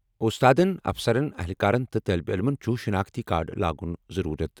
اُستادَن، افسرَن، اہلکارَن تہٕ طٲلب علمَن چھُ شناختی کارڈ لاگُن ضروٗرت۔